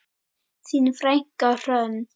Þín frænka Hrönn.